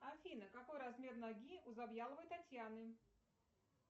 афина какой размер ноги у завьяловой татьяны